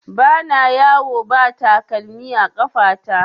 Ba na yawo ba takalmi a ƙafa ta